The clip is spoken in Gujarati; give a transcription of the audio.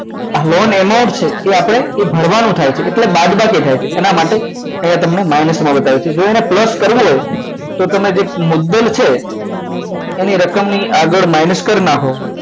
loan amount છે એ આપણે ભરવાનું થાય છે તે બાદબાકી એટલે બાદબાકી થાય છે એના માટે અહીંયા તમને અહીંયા તમને minus માં બતાવે છે એને plus કરવું હોય તો તમે જે મુદ્દલ છે એની રકમની આગળ mines કરી નાખો